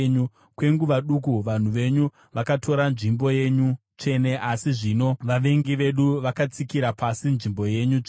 Kwenguva duku vanhu venyu vakatora nzvimbo yenyu tsvene, asi zvino vavengi vedu vakatsika-tsika nzvimbo yenyu tsvene.